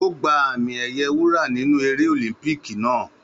Ó gba àmì ẹ̀yẹ wúrà nínú eré ọ̀límúpíkì naa